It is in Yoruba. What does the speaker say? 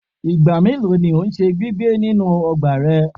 Igba melo ni o ṣe gbigbẹ ninu ọgba rẹ?